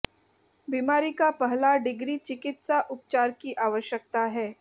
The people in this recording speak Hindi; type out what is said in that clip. बीमारी का पहला डिग्री चिकित्सा उपचार की आवश्यकता है